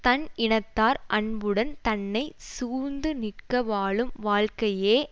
தன் இனத்தார் அன்புடன் தன்னை சூழ்ந்து நிற்க வாழும் வாழ்க்கையே